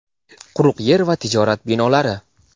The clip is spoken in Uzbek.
quruq yer va tijorat binolari!.